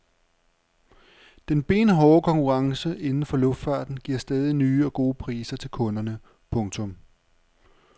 Den benhårde konkurrence inden for luftfarten giver stadig nye og gode priser til kunderne. punktum